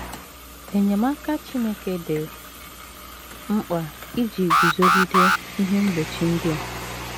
Enyemaka Chineke dị mkpa iji guzogide ihe mgbochi ndị a.